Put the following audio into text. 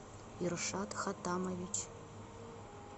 иршат хатамович